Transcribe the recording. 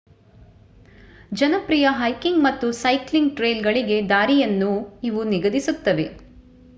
ಜನಪ್ರಿಯ ಹೈಕಿಂಗ್ ಮತ್ತು ಸೈಕ್ಲಿಂಗ್ ಟ್ರೇಲ್‌ಗಳಿಗೆ ದಾರಿಯನ್ನೂ ಇವು ನಿಗದಿಸುತ್ತವೆ